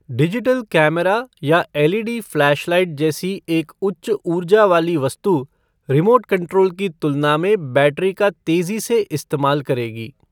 Digital camera या LED flashlight जैसी एक उच्च ऊर्जा वाली वस्तु रिमोट कंट्रोल की तुलना में बैटरी का तेज़ी से इस्तेमाल करेगी।